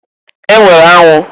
E nwere anwụ.